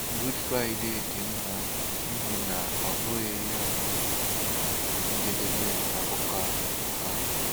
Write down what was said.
Good Friday dị mma n'ihi na ọ bụghị ya bụ njedebe akụkọ a. a.